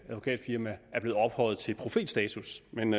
advokatfirma er blevet ophøjet til profetstatus men